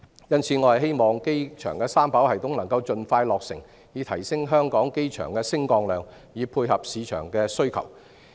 因此，我希望機場三跑系統能夠盡快落成，以提升香港機場的升降量，配合市場的需求。